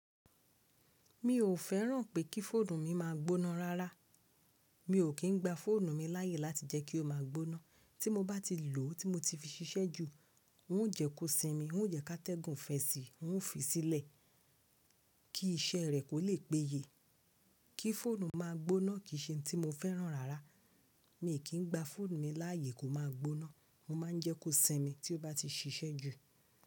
Mi ò fẹ́ràn pé kí fóònù mi máa gbóná rárá. Mi ò kí ń gba fóònù mi láàyè láti jẹ́ kí ó máa gbóná. Tí mo bá ti lò ó, tí mo ti fi ṣiṣẹ́ jù, ń ò jẹ́ kó sinmi, ń ò jẹ́ ká tẹ́gun fẹ́ sí i, ń ò fi sílẹ̀ kí iṣẹ́ rẹ̀ kò lè péye. Kí fóònù máa gbóná kì í ṣe ohun tí mo fẹ́ràn rárá. Mi ò kí ń gba fóònù mi láàyè kó máa gbóná. Mo má a ń jẹ́ kó sinmi tí ó bá ti ṣiṣẹ́ jù.